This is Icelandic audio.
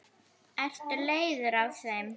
Ertu leiður á þeim?